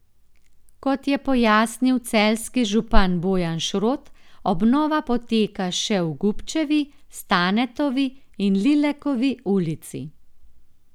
Kot je pojasnil celjski župan Bojan Šrot, obnova poteka še v Gubčevi, Stanetovi in Lilekovi ulici.